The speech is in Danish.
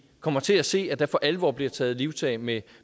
kommer til at se at der for alvor bliver taget livtag med